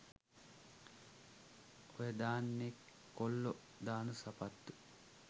ඔයා දාන්නෙ කොල්ලෝ දාන සපත්තු